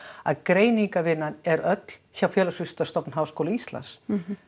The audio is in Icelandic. að greiningarvinnan er öll hjá Félagsvísindastofnun Háskóla Íslands